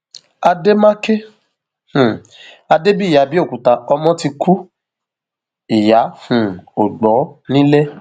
àdèmàkè um adébíyí àbẹòkúta ọmọ ti kú ìyá um ò gbọ nílẹ